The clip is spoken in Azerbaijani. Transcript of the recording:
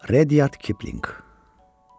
Redyard Kipling.